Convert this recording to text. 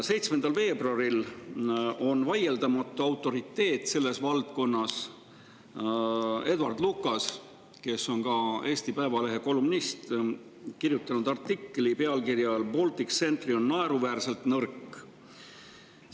7. veebruaril on selle valdkonna vaieldamatu autoriteet, Edward Lucas, kes on ka Eesti Päevalehe kolumnist, kirjutanud artikli pealkirjaga "Baltic Sentry on naeruväärselt nõrk".